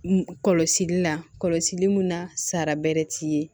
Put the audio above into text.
Kɔlɔsili la kɔlɔsili mun na sara bɛrɛ t'i ye